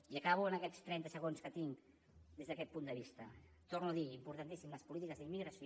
i acabo en aquests trenta segons que tinc des d’aquest punt de vista ho torno a dir importantíssim les polítiques d’immigració